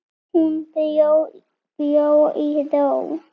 Hún bjó í ró.